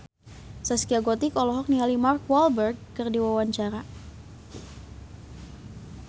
Zaskia Gotik olohok ningali Mark Walberg keur diwawancara